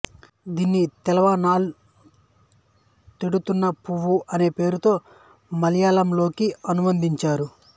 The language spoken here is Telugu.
దీన్ని తెలానాల్ తేడున్న పూవు అనే పేరుతో మలయాళంలోకి అనువదించారు